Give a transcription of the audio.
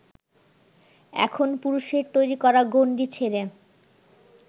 এখন পুরুষের তৈরি করা গণ্ডি ছেড়ে